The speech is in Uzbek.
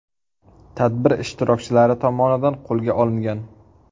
tadbir ishtirokchilari tomonidan qo‘lga olingan.